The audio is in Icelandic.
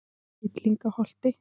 Villingaholti